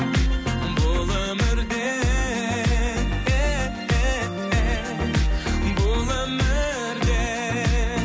бұл өмірде бұл өмірде